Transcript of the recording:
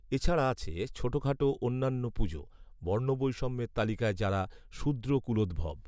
এ ছাড়া আছে ছোটখাটো অন্যান্য পুজো; বর্ণবৈষম্যের তালিকায় যারা শূদ্রকূলোদ্ভব